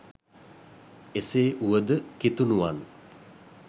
එසේ වුව ද කිතුනුවන්